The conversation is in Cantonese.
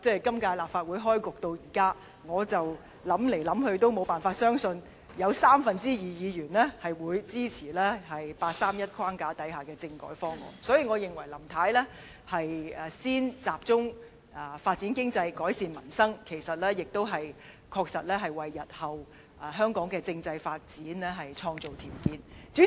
今屆立法會開局至今，不管我怎樣想象，也無法相信會有三分之二議員支持八三一框架之下的政改方案，所以我認為林太先集中發展經濟、改善民生，其實也確實為香港日後的政制發展創造條件。